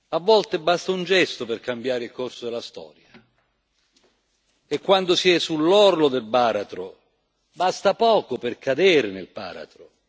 A volte basta un gesto per cambiare il corso della storia. E quando si è sull'orlo del baratro, basta poco per cadere nel baratro